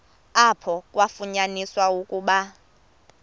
apho kwafunyaniswa ukuba